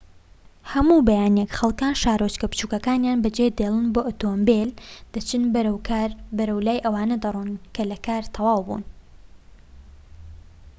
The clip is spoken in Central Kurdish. هەموو بەیانیەک خەڵكان شارۆچکە بچوکەکەنیان بەجێدێڵن بە ئۆتۆمبیل دەچن بەرەو کار و بەلای ئەوانەدا دەڕۆن کە لە کار تەواوبوون